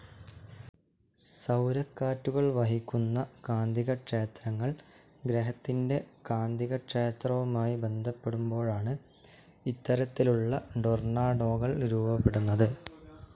സൗരക്കാറ്റുകൾ വഹിക്കുന്ന കാന്തികക്ഷേത്രങ്ങൾ ഗ്രഹത്തിന്റെ കാന്തികക്ഷേത്രവുമായി ബന്ധപ്പെടുമ്പോഴാണ്‌ ഇത്തരത്തിലുള്ള ടൊർണാഡോകൾ രൂപപ്പെടുന്നത്.